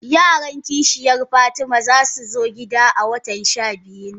Yaran kishiyan fatima zasu zo gida a watan shabiyu nan.